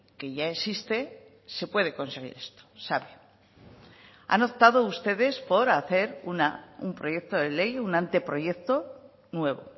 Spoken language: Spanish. que ya existe se puede conseguir esto sabe han optado ustedes por hacer un proyecto de ley un anteproyecto nuevo